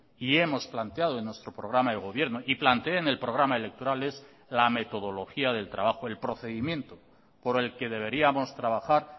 y hemos planteado en nuestro programa de gobierno y planteé en el programa electoral es la metodología del trabajo el procedimiento por el que deberíamos trabajar